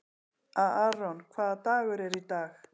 Aaron, hvaða dagur er í dag?